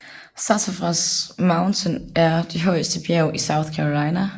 Sassafras Mountain er det højeste bjerg i South Carolina